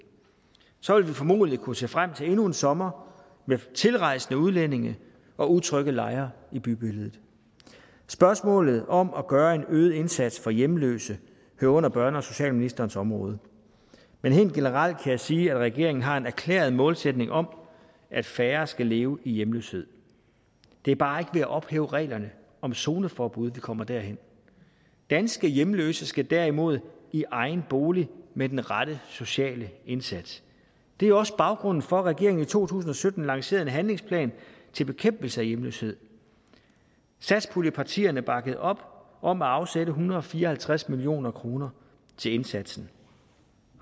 så ville vi formodentligt kunne se frem til endnu en sommer med tilrejsende udlændinge og utrygge lejre i bybilledet spørgsmålet om at gøre en øget indsats for hjemløse hører under børne og socialministerens område men helt generelt kan jeg sige at regeringen har en erklæret målsætning om at færre skal leve i hjemløshed det er bare ikke ved at ophæve reglerne om zoneforbud vi kommer derhen danske hjemløse skal derimod i egen bolig med den rette sociale indsats det er også baggrunden for at regeringen i to tusind og sytten lancerede en handlingsplan til bekæmpelse af hjemløshed satspuljepartierne bakkede op om at afsætte en hundrede og fire og halvtreds million kroner til indsatsen